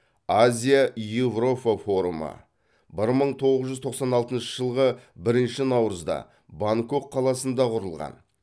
азия еуропа форумы бір мың тоғыз жүз тоқсан алтыншы жылғы бірінщі наурызда бангкок қаласында құрылған